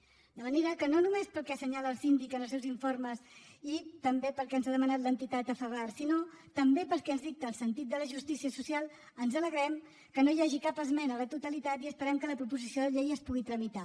de manera que no només pel que assenyala el síndic en els seus informes i també pel que ens ha demanat l’entitat afabar sinó també pel que ens dicta el sentit de la justícia social ens alegrem que no hi hagi cap esmena a la totalitat i esperem que la proposició de llei es pugui tramitar